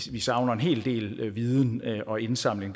vi savner en hel del viden og indsamling